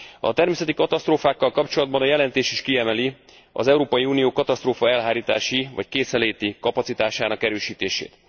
A természeti katasztrófákkal kapcsolatban a jelentés is kiemeli az Európai Unió katasztrófaelhárítási vagy készenléti kapacitásának erősítését.